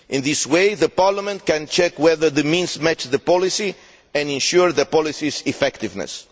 In this way, the Parliament can check whether the means match the policy and ensure the policy's effectiveness.